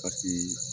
A ti